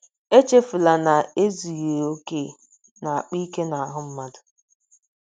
Echefula na ezughị okè na - akpa ike n’ahụ́ mmadụ.